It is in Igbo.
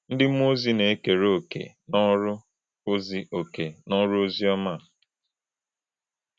Ndị mmụọ ozi na-ekere òkè n’ọrụ ozi òkè n’ọrụ ozi ọma a.